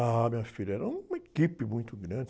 Ah, minha filha, era uma equipe muito grande.